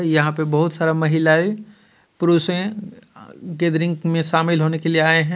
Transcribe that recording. यहां पे बहुत सारा महिलाएं पुरुषे अ-गैदरिंग में शामिल होने के लिए आए हैं.